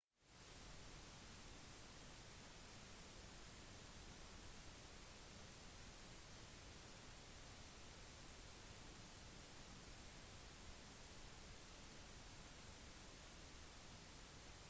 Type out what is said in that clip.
de lange sommerdagene kan gjøre det utfordrende å få tilstrekkelig med søvn og gi helseproblemer i tilknytning til det